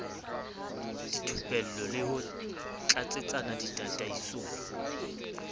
dithupello le ho tlatsetsa ditataisong